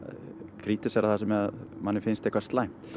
krítísera það sem manni finnst slæmt